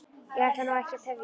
Ég ætla nú ekki að tefja ykkur.